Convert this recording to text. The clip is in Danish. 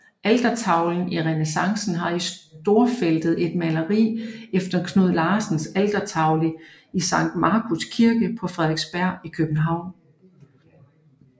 Altertavlen i renæssance har i storfeltet et maleri efter Knud Larsens altertavle i Sankt Markus Kirke på Frederiksberg i København